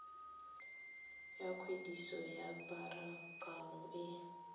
ya kwadiso ya pharakano e